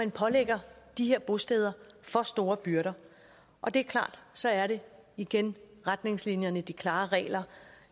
pålægger de her bosteder for store byrder og det er klart så er det igen retningslinjerne de klare regler